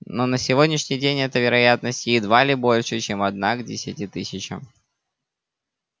но на сегодняшний день эта вероятность едва ли больше чем одна к десяти тысячам